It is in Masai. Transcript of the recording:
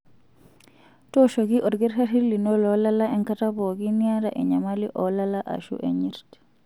Tooshoki olkitarri lino loolala enkata pookin niata enyamali oolala aashu enyirt.